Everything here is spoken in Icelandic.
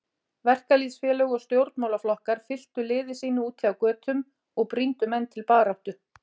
Verkalýðsfélög og stjórn- málaflokkar fylktu liði sínu úti á götum og brýndu menn til baráttu.